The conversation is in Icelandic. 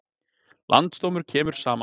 Landsdómur kemur saman